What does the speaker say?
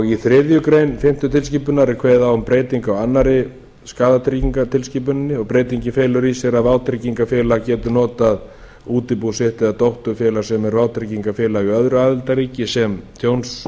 í þriðju grein fimmtu tilskipunar er kveðið á um breytingu á annarri skaðatryggingatilskipuninni og breytingin felur í sér að vátryggingafélag getur notað útibú sitt eða dótturfélag sem er vátryggingafélag í öðru aðildarríki sem